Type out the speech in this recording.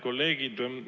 Head kolleegid!